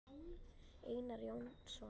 Einar Jónsson